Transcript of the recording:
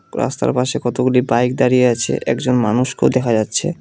রাস্তার পাশে কতগুলি বাইক দাঁড়িয়ে আছে একজন মানুষকেও দেখা যাচ্ছে।